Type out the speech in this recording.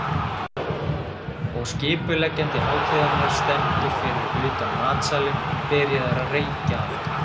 Og skipuleggjandi hátíðarinnar stendur fyrir utan matsalinn, byrjaður að reykja aftur.